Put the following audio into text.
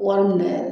Wari minɛ yɛrɛ